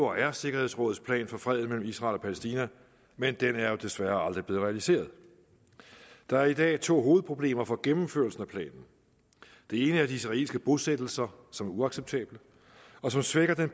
og er sikkerhedsrådets plan for freden mellem israel og palæstina men den er jo desværre aldrig blevet realiseret der er i dag to hovedproblemer for gennemførelsen af planen det ene er de israelske bosættelser som er uacceptable og som svækker den